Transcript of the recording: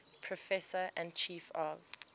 professor and chief of